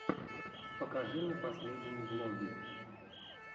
покажи мне последние влоги